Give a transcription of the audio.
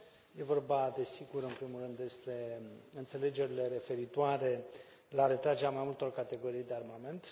E vorba, desigur, în primul rând despre înțelegerile referitoare la retragerea mai multor categorii de armament.